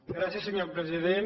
gràcies senyor president